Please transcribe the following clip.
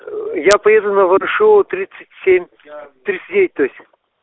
я поеду на ворошилова тридцать семь тридцать девять то есть